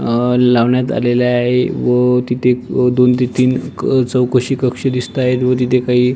अं लावण्यात आलेलं आहे व तिथे दोन ते तीन चौकशी कक्ष दिसत आहे व तिथे काही--